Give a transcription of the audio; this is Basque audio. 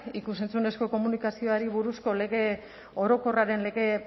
ikus entzunezko komunikazioari buruzko lege orokorraren lege